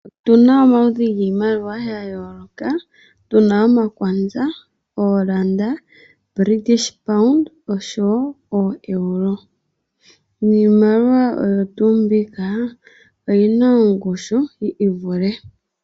Opuna omaludhi giimaliwa yayooloka puna omaKwaza, eeRand, British Pounds nosho wo oEuro. Niimaliwa oyo tuu mbika oyina oongushu yiivule.